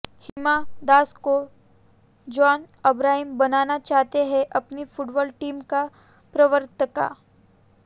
हिमा दास को जॉन अब्राहम बनाना चाहते हैं अपनी फुटबॉल टीम का प्रवक्ता